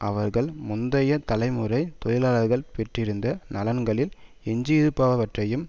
அவர்கள் முந்தைய தலைமுறை தொழிலாளர்கள் பெற்றிருந்த நலன்களில் எஞ்சியிருப்பவற்றையும்